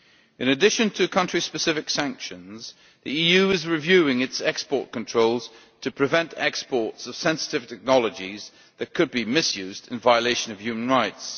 In addition to country specific sanctions, the EU is reviewing its export controls to prevent exports of sensitive technologies that could be misused in violation of human rights.